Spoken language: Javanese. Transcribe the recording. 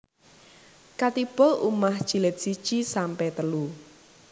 Khatibul Ummah Jilid siji sampe telu